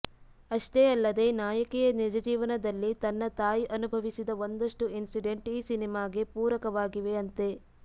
ಅಷ್ಟೇ ಅಲ್ಲದೇ ನಾಯಕಿಯ ನಿಜಜೀವನದಲ್ಲಿ ತನ್ನ ತಾಯಿ ಅನುಭವಿಸಿದ ಒಂದಷ್ಟು ಇನ್ಸಿಡೆಂಟ್ ಈ ಸಿನಿಮಾಗೆ ಪೂರಕವಾಗಿವೆಯಂತೆ